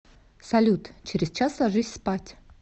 салют через час ложись спать